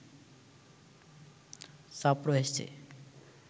চাপ রয়েছে